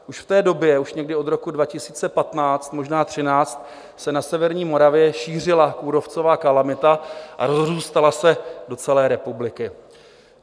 Už v té době, už někdy od roku 2015, možná 2013, se na severní Moravě šířila kůrovcová kalamita a rozrůstala se do celé republiky.